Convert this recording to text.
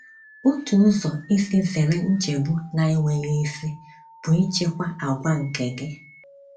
Otu ụzọ isi zere nchegbu na - enweghị isi bụ ịchịkwa àgwà nke gị.